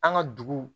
An ka dugu